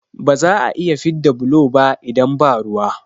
Ba za'a iya fidda bulo ba idan ba ruwa